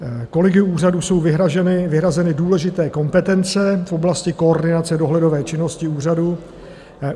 Kolegiu úřadu jsou vyhrazeny důležité kompetence v oblasti koordinace dohledové činnosti úřadu.